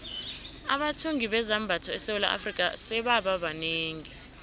abathungi bezambatho esewula afrika sebaba banengi